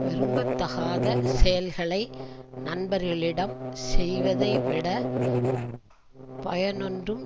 விரும்ப தகாத செயல்களை நண்பர்களிடம் செய்வதை விட பயனொன்றும்